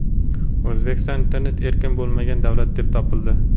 O‘zbekiston internet erkin bo‘lmagan davlat deb topildi.